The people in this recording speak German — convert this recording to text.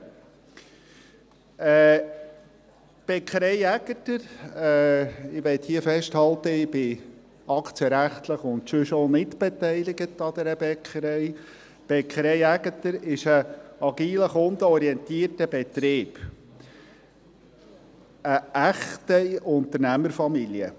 – Die Bäckerei Aegerter – ich möchte hier festhalten, dass ich aktienrechtlich und auch sonst nicht beteiligt bin an dieser Bäckerei – ist ein agiler, kundenorientierter Betrieb, eine echte Unternehmerfamilie.